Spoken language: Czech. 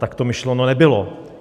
Tak to myšleno nebylo.